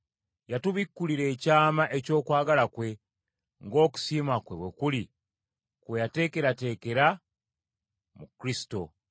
Yatubikkulira ekyama eky’okwagala kwe, ng’okusiima kwe bwe kuli kwe yateekerateekera mu Kristo.